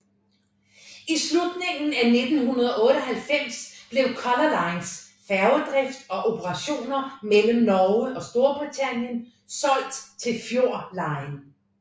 I slutningen af 1998 blev Color Lines færgedrift og operationer mellem Norge og Storbritannien solgt til Fjord Line